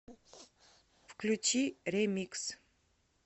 включи ремикс